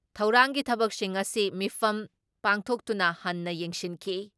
ꯊꯧꯔꯥꯡꯒꯤ ꯊꯕꯛꯁꯤꯡ ꯉꯁꯤ ꯃꯤꯐꯝ ꯄꯥꯡꯊꯣꯛꯇꯨꯅ ꯍꯟꯅ ꯌꯦꯡꯁꯤꯟꯈꯤ ꯫